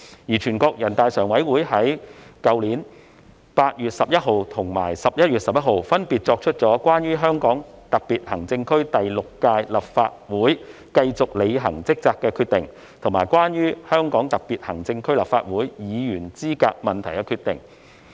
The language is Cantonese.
而全國人大常委會在去年8月11日和11月11日，分別作出《關於香港特別行政區第六屆立法會繼續履行職責的決定》及《關於香港特別行政區立法會議員資格問題的決定》。